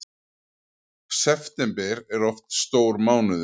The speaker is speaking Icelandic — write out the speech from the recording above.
September er oft stór mánuður